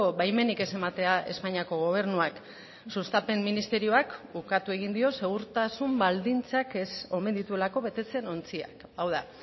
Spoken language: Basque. baimenik ez ematea espainiako gobernuak sustapen ministerioak ukatu egin dio segurtasun baldintzak ez omen dituelako betetzen ontziak hau da